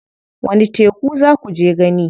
Wani teku za kuje gani?